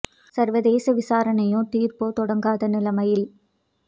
சர்வதேச விசாரணையோ தீர்ப்போ தொடங்காத நிலைமையில்